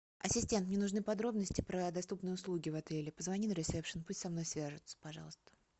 ассистент мне нужны подробности про доступные услуги в отеле позвони на ресепшн пусть со мной свяжутся пожалуйста